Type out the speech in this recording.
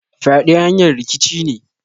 Fyade hanyar rikici ne.